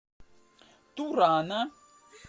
турана